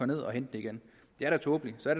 ned og hente dem igen det er da tåbeligt så er